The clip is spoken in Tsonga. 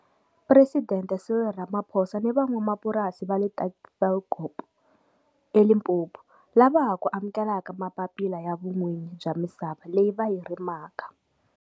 Presidente Cyril Ramaphosa ni van'wamapurasi va le Tafelkop, eLimpopo, lava ha ku amukelaka mapapila ya vun'winyi bya misava leyi va yi rimaka.